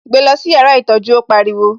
Gbé lọ sí yàrá ìtọ́jú, ó pariwo